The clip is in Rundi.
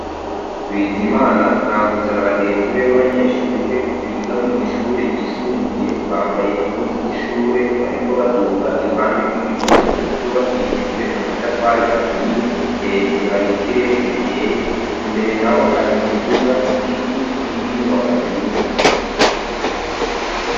Bizimana Mwambutsa na bagenzi be baba nyeshure biga mwishure ryisumbuye bambaye impuzu z'ishure bariko baduga iruhande rw'igihome cubakishijwe amatafari aturiye hejuru hari ikirere gikeye imbere naho hari imiduga igiti n'indi nyubakwa nziza.